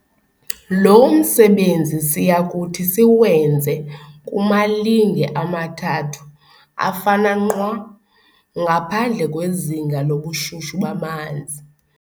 lo msebenzi siyakuthi siwenze kumalinge amathathu, afana nqwa, ngaphandle kwezinga lobushushu bamanzi.